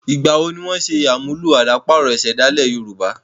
Ìgbà wo ni wọ́n n ṣe àmúlò àdàparo ìsèdálè yorùbá?